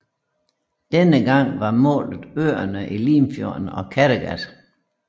Denne gang var målet øerne i Limfjorden og Kattegat